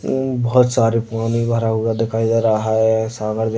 अ बहुत सारे पानी भरा हुआ दिखाई दे रहा है सागर भी --